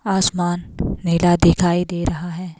आसमान नीला दिखाई दे रहा है।